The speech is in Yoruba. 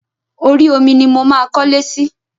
Orí omi ni mo máa kọlé sí.